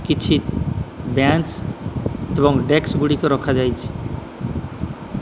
କିଛି ବ୍ୟାଞ୍ଚ୍ ଏବଂ ଡେସ୍କ ଗୁଡ଼ିକ ରଖାଯାଇଛି।